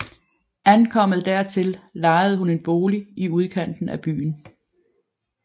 Ankommet dertil lejede hun en bolig i udkanten af byen